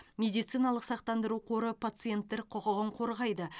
медициналық сақтандыру қоры пациенттер құқығын қорғайды